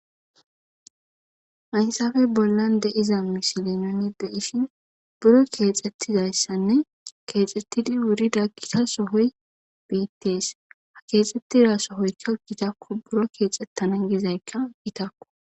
haysafe bollan deiza misile noni deishin buro keexxettizayssanne keexxettidi wurida gita sohoy beittees ha keexxettida sohoykka gitakko buro keexxettana gizaykka gitakko